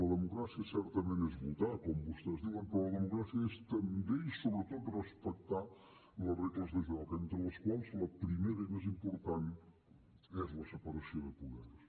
la democràcia certament és votar com vostès diuen però la democràcia és també i sobretot respectar la regles de joc entre les quals la primera i més important és la separació de poders